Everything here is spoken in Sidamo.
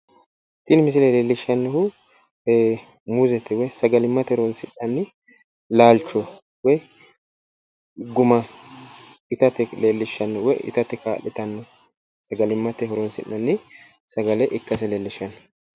Tini misile lellishshannohu muuzete woyi sagalimmate horonsi'nanni laalcho woyi guma itate leellishshanno woyi itate kaa'litanno sagalimmate horonsi'nanni sagale ikkase leellishshanno.